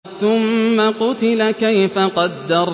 ثُمَّ قُتِلَ كَيْفَ قَدَّرَ